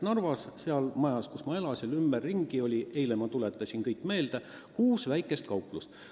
Narvas oli selle maja lähedal, kus ma elasin – eile ma tuletasin kõik meelde – kuus väikest kauplust.